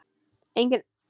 Engin talstöð var í bílnum.